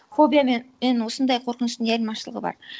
фобия мен осындай қорқыныштың не айырмашылығы бар